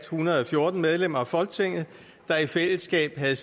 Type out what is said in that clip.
hundrede og fjorten medlemmer af folketinget der i fællesskab havde